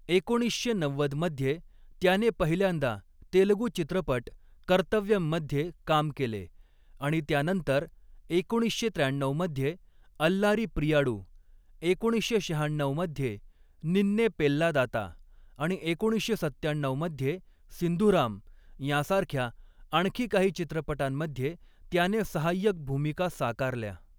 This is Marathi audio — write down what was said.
एकोणीसशे नव्वद मध्ये त्याने पहिल्यांदा तेलगू चित्रपट 'कर्तव्यम' मध्ये काम केले आणि त्यानंतर एकोणीसशे त्र्याण्णऊमध्ये 'अल्लारी प्रियाडू', एकोणीसशे शहाण्णऊ मध्ये 'निन्ने पेल्लादाता' आणि एकोणीसशे सत्त्याण्णऊ मध्ये 'सिंधूराम' यांसारख्या आणखी काही चित्रपटांमध्ये त्याने सहाय्यक भूमिका साकारल्या.